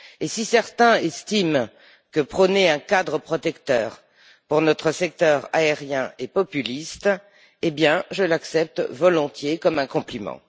Si certains estiment que prôner un cadre protecteur pour notre secteur aérien est populiste, alors je l'accepte volontiers comme un compliment.